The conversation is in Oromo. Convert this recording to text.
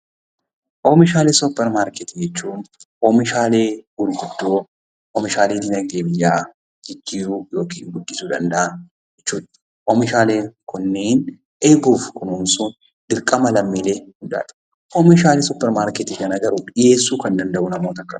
Oomishaalee Suuparmaarketii jechuun oomishaalee gurguddoo, oomishaalee dinagdee biyyaa jijjiiruu yookiin guddisuu danda'an jechuu dha. Oomishaaleen kunneen eeguuf kunuunsuun dirqama lammiilee hundaa ti. Oomishaalee Suuparmaarketii kana dhiyeessuu kan danda'u garuu namoora akkamiiti?